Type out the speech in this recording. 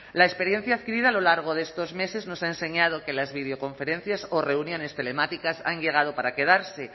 la experiencia adquirida a lo largo de estos meses nos ha enseñado que las videoconferencias o reuniones telemáticas han llegado para quedarse